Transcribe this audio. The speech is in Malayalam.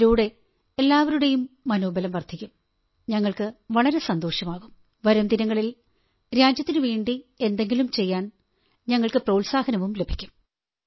അതിലൂടെ എല്ലാവരുടെയും മനോബലം വർധിക്കും ഞങ്ങൾക്കു വളരെ സന്തോഷമാകും വരും ദിനങ്ങളിൽ രാജ്യത്തിനുവേണ്ടി എന്തെങ്കിലും ചെയ്യാൻ ഞങ്ങൾക്കു പ്രോത്സാഹനവും ലഭിക്കും